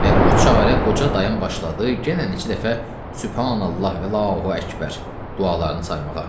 Və bu çarə qoca dayım başladı yenə neçə dəfə Sübhanallah və Allahu Əkbər dualarını saymağa.